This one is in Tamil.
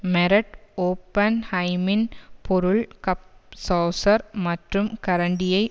மெரட் ஓபன்ஹய்ம்மின் பொருள் கப் சோசர் மற்றும் கரண்டியை